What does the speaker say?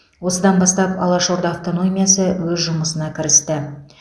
осыдан бастап алаш орда автономиясы өз жұмысына кірісті